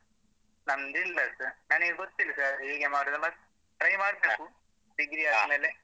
ನಂದಿಲ್ಲ sir ನನಿಗೆ ಗೊತ್ತಿಲ್ಲ sir ಹೇಗೆ ಮಾಡುದು ಮತ್ತ್ try ಮಾಡ್ತೇಕು degree ಆದ್ಮೇಲೆ.